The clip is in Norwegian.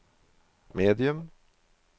medium